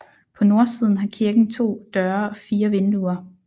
På nordsiden har kirken to døre og fire vinduer